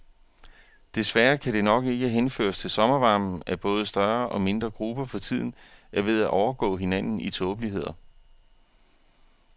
Desværre kan det nok ikke henføres til sommervarmen, at både større og mindre grupper for tiden er ved at overgå hinanden i tåbeligheder.